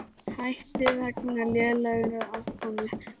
Hætti vegna lélegrar afkomu